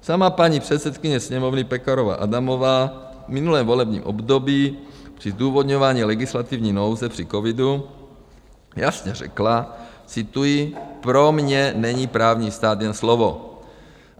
Sama paní předsedkyně sněmovny Pekarová Adamová v minulém volebním období při zdůvodňování legislativní nouze při covidu jasně řekla - cituji: pro mě není právní stát jen slovo.